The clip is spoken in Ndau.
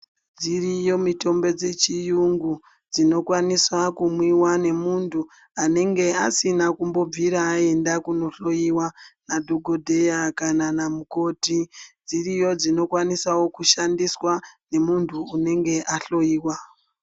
Dziriyo mitombo dzechiyungu dzinokwanisa kumwiwa nemuntu anenge asina kumbobvira aende kunohloyiwa nadhokodheya kana namukhoti, dziriyo dzinokwanisawo kushandiswa nemuntu anenge ahloyiwa.